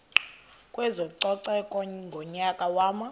kwezococeko ngonyaka wama